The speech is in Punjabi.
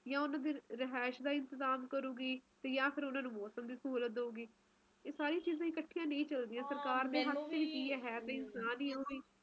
ਦਫਤਰ ਵਾਲਿਆਂ ਨੂੰ ਨਹੀਂ ਆਪਾ ਕਹਿ ਸਕਦੇ ਬੱਚਿਆਂ ਨੂੰ ਛੁੱਟੀਆਂ ਕਰਕੇ ਜ਼ਆਦਾਤਰ ਲੋਕ ਹੀ ਜਾਂਦੇ ਆ ਘੁੰਮਣ ਫਿਰਨ ਪਰ ਮੈਨੂੰ ਤਾ ਸਚੀ ਬੋਲੋ ਤਾ ਇਹ ਜਾ ਮੌਸਮ ਪੰਸਦ ਹੀ ਨਹੀਂ ਹੈ ਸਰਦੀਆਂ ਮੈਨੂੰ ਜਵਾ ਨਹੀਂ ਪਸੰਦ ਨਹੀਂ ਹੈ ਮੈਨੂੰ ਤਾ ਅਏ ਹੁੰਦਾ ਹੈ ਨਾ ਮੌਸਮ ਹੋਵੇ ਜਿਵੇ